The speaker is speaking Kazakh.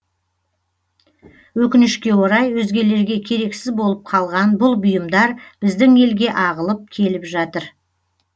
өкінішке орай өзгелерге керексіз болып қалған бұл бұйымдар біздің елге ағылып келіп жатыр